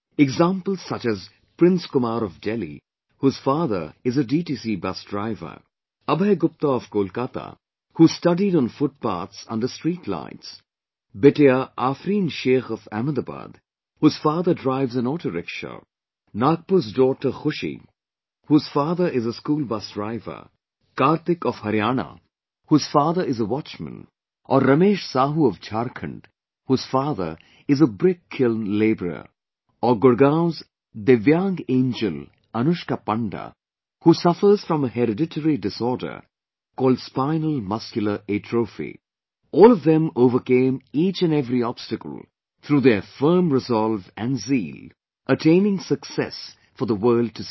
Examples such as Prince Kumar of Delhi, whose father is a DTC bus driver, Abhay Gupta of Kolkata who studied on foothpaths under street lights, Bitiya Afreen Sheikh of Ahmedabad, whose father drives an auto rickshaw, Nagpur's daughter Khushi, whose father is a school bus driver, Karthik of Haryana, whose father is a watchman or Ramesh Sahu of Jharkhand, whose father is a brickkiln labourer... or Gurgaon's divyang angel Anushka Panda, who suffers from a hereditary disorder called spinal muscular atrophy... all of them overcame each & every obstacle through their firm resolve and Zeal, attaining success for the world to see